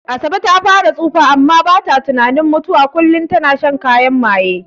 Asabe far ta tsufa amma bata tunanin mutuwa, kullin ita na shan kayan maye.